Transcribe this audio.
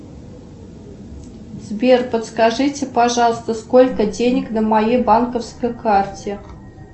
сбер подскажите пожалуйста сколько денег на моей банковской карте